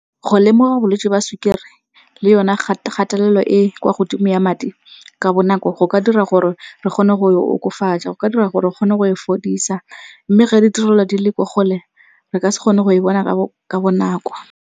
Go lemoga bolwetse ba sukiri le yone kgatelelo e kwa godimo ya madi ka bonako go ka dira gore re kgone go okofatsa, go ka dira gore o kgone go e fodisa. Mme ge ditirelo di le kwa kgole re ka se kgone go e bona ka bonako.